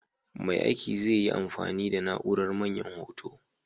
Mai aiki zai yi amfani da na'urar Manyan Hoto.